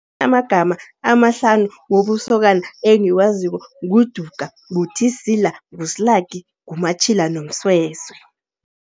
Amagama amahlanu wobusokana engiwaziko nguDuka, nguThisila, nguSlaki, nguMatjhila noMsweswe.